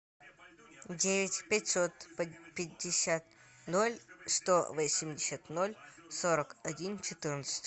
девять пятьсот пятьдесят ноль сто восемьдесят ноль сорок один четырнадцать